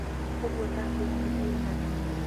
Ũguo ndakwĩra nĩ mũiganu